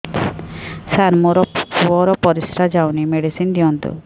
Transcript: ସାର ମୋର ପୁଅର ପରିସ୍ରା ଯାଉନି ମେଡିସିନ ଦିଅନ୍ତୁ